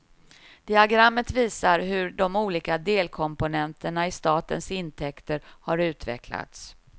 Diagrammet visar hur de olika delkomponenterna i statens intäkter har utvecklats.